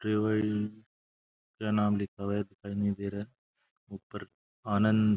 क्या नाम लिखा हुआ है दिखाई नहीं दे रहा है ऊपर आनंद --